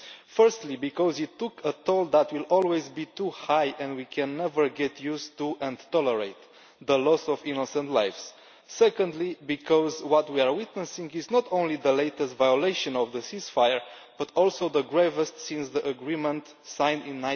Firstly, because it took a toll that will always be too high, and we can never get used to or tolerate the loss of innocent lives. Secondly, because what we are witnessing is not only the latest violation of the ceasefire but also the gravest since the agreement was signed in